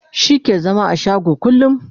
shi ke zama a shago kullum